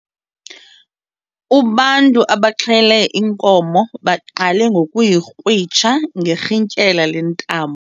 Ubantu abaxhele inkomo baqale ngokuyikrwitsha ngerhintyela lentambo.